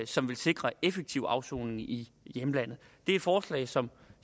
som vil sikre en effektiv afsoning i hjemlandet det er et forslag som